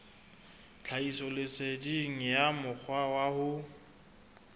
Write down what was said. tlhahisoleseding ya mokgwa wa ho